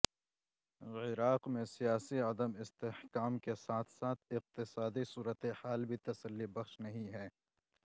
عراق میں سیاسی عدم استحکام کے ساتھ ساتھ اقتصادی صورتحال بھی تسلی بخش نہیں ہے